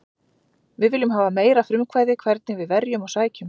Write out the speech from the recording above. Við viljum hafa meira frumkvæði hvernig við verjum og sækjum.